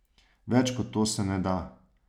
Več kot to se ne da.